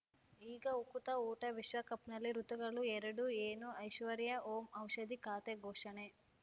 ಈಗ ಉಕುತ ಊಟ ವಿಶ್ವಕಪ್‌ನಲ್ಲಿ ಋತುಗಳು ಎರಡು ಏನು ಐಶ್ವರ್ಯಾ ಓಂ ಔಷಧಿ ಖಾತೆ ಘೋಷಣೆ